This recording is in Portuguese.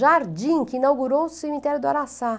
Jardim, que inaugurou o cemitério do Araçá.